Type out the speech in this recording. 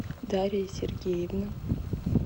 дарья сергеевна